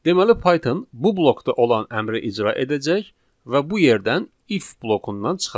Deməli Python bu blokda olan əmri icra edəcək və bu yerdən if blokundan çıxacaq.